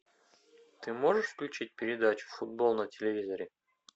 ты можешь включить передачу футбол на телевизоре